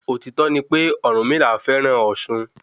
Òtító ni pé Ọ̀rùnmila fẹ́ràn ọ̀sun.